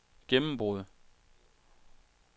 gennembrud